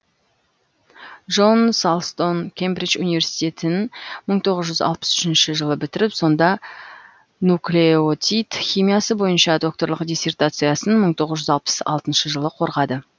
джон салстон кембридж университетін мың тоғыз жүз алпыс үшінші жылы бітіріп сонда нуклеотид химиясы бойынша докторлық диссертациясын мың тоғыз жүз алпыс алтыншы жылы қорғады